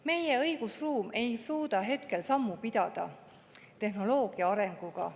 Meie õigusruum ei suuda sammu pidada tehnoloogia arenguga.